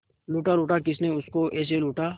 लूटा लूटा किसने उसको ऐसे लूटा